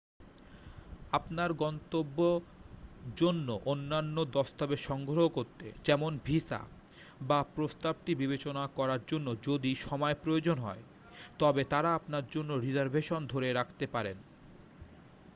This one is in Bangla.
আপনার গন্তব্যর জন্য অন্যান্য দস্তাবেজ সংগ্রহ করতে যেমন: ভিসা বাপ্রস্তাবটি বিবেচনা করার জন্য যদি সময় প্রয়োজন হয় তবে তারা আপনার জন্য রিজার্ভেশন ধরে রাখতে পারেন